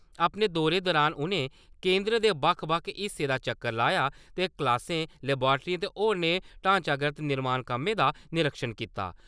अपने दौरे दुरान उ'नें केंदर दे बक्ख-बक्ख हिस्सें दा चक्कर लाया ते क्लासें, लवाट्रियें ते होरनें ढांचागत निर्माण कम्में दा निरीक्षण कीता।